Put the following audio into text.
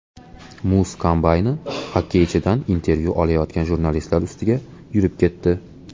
Muz kombayni xokkeychidan intervyu olayotgan jurnalistlar ustiga yurib ketdi .